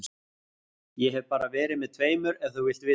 Ég hef bara verið með tveimur ef þú vilt vita það.